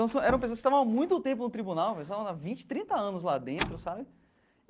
Então, eram pessoas que estavam há muito tempo no tribunal, sei lá vinte, trinta anos lá dentro sabe.